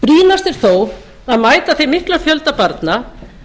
brýnast er þó að mæta þeim mikla fjölda barna